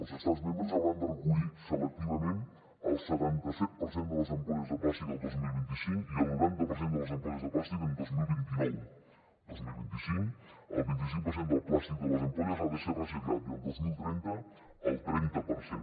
els estats membres hauran de recollir selectivament el setanta set per cent de les ampolles de plàstic el dos mil vint cinc i el noranta per cent de les ampolles de plàstic el dos mil vint nou el dos mil vint cinc el vint cinc per cent del plàstic de les ampolles ha de ser reciclat i el dos mil trenta el trenta per cent